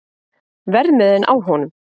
Verðmiðinn á honum?